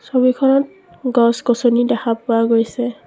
ছবিখনত গছ-গছনি দেখা পোৱা গৈছে।